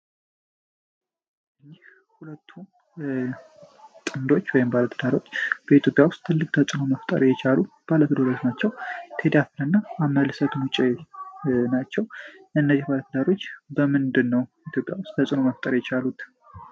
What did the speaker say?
እነዚህ ሁለቱ ጥንዶች ወይም ባለትዳሮች በኢትዮጵያ ውስጥ ትልቅ ተጽኖ መፍጠር የቻሉ ባለትደረዝ ናቸው ቴዲ አፍሮ እና አመልሰቱን ውጪ ናቸው እነዚህ ባለተዳሮች በምንድ ነው ኢትዮጵያ ውስጥ ተጽኖ መፍጠር የቻሉት።